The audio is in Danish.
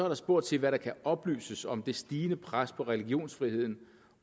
der spurgt til hvad der kan oplyses om det stigende pres på religionsfriheden